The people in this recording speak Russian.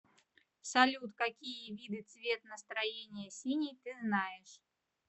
салют какие виды цвет настроения синий ты знаешь